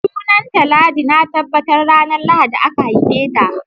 Sunanta Ladi, na tabbata ranar Lahadi aka haife ta